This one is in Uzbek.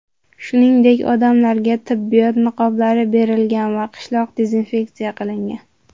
Shuningdek, odamlarga tibbiyot niqoblari berilgan va qishloq dezinfeksiya qilingan.